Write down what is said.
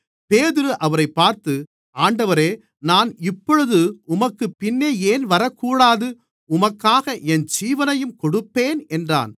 பேதுரு அவரைப் பார்த்து ஆண்டவரே நான் இப்பொழுது உமக்குப்பின்னே ஏன் வரக்கூடாது உமக்காக என் ஜீவனையும் கொடுப்பேன் என்றான்